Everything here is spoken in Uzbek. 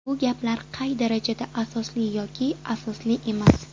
Bu gaplar qay darajada asosli yoki asosli emas?